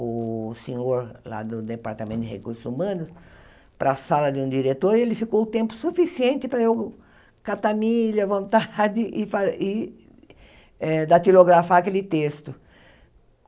o senhor lá do Departamento de Recursos Humanos, para a sala de um diretor, e ele ficou o tempo suficiente para eu catar milho à vontade e fa e eh datilografar aquele texto.